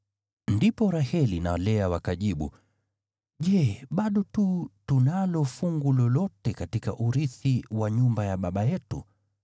Ndipo Raheli na Lea wakajibu, “Je bado tu tunalo fungu lolote katika urithi wa nyumba ya baba yetu?